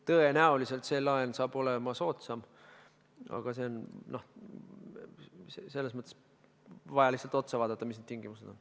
Tõenäoliselt saab see laen olema soodsam, aga on vaja lihtsalt vaadata, mis need tingimused on.